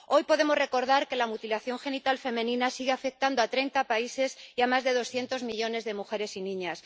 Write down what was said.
Hoy podemos recordar que la mutilación genital femenina sigue afectando a 30 países y a más de 200 millones de mujeres y niñas.